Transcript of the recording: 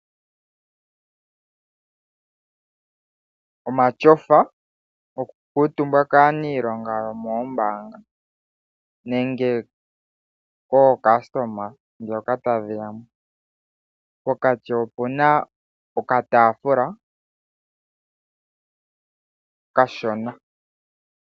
Omatyofa goku kuutumbwa kaanilonga yomoombanga noka taafula okashona keli pokati